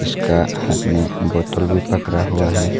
उसका हाथ में बोतल भी पकड़ा हुआ है।